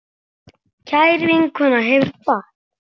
Kær vinkona hefur kvatt.